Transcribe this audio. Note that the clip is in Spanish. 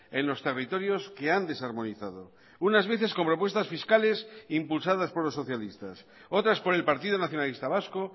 en los territorios que han desarmonizado unas veces con propuestas fiscales impulsadas por los socialistas otras por el partido nacionalista vasco